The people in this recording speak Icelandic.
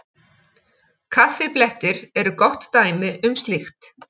Kaffiblettir eru gott dæmi um slíkt.